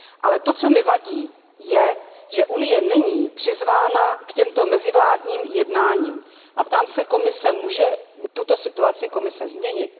Ale to, co mi vadí, je, že Unie není přizvána k těmto mezivládním jednáním a ptám se Komise Může tuto situaci Komise změnit?